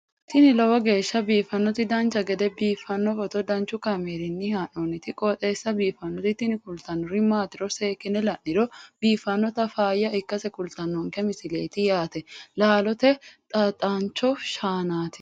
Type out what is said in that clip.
tini lowo geeshsha biiffannoti dancha gede biiffanno footo danchu kaameerinni haa'noonniti qooxeessa biiffannoti tini kultannori maatiro seekkine la'niro biiffannota faayya ikkase kultannoke misileeti yaate laalote xaaxancho shaanati